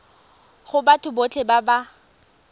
go batho botlhe ba ba